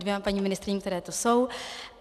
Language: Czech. Dvěma paní ministryním, které tu jsou.